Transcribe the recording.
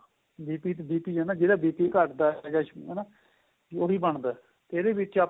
BP ਆ ਨਾ ਜਿਹੜਾ BP ਘੱਟਦਾ ਦਾ ਹਨਾ ਉਹੀ ਬਣਦਾ ਇਹਦੇ ਵਿੱਚ ਆਪਾਂ